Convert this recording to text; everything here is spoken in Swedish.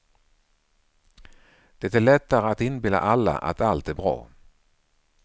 Det är lättare att inbilla alla att allt är bra.